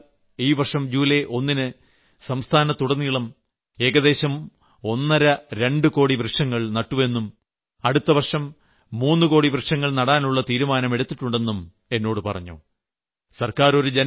മഹാരാഷ്ട്ര സർക്കാർ ഈ വർഷം ജൂലൈ 1ന് സംസ്ഥാനത്തുടനീളം ഏകദേശം ഒന്നരരണ്ട് കോടി വൃക്ഷങ്ങൾ നട്ടു എന്നും അടുത്ത വർഷം മൂന്നുകോടി വൃക്ഷങ്ങൾ നടാനുള്ള തീരുമാനമെടുത്തിട്ടുണ്ട് എന്നും എന്നോട് പറഞ്ഞു